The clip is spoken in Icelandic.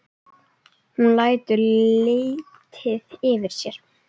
Hún lætur lítið yfir sér.